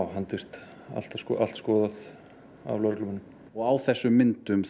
handvirkt allt allt skoðað af lögreglumönnum og á þessum myndum